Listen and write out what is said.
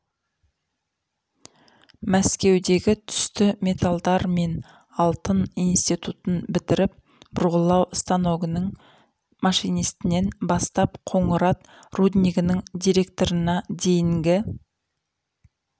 мәскеудегі түсті металдар мен алтын институтын бітіріп бұрғылау станогінің машинистінен бастап қоңырат руднигінің директорына дейінгі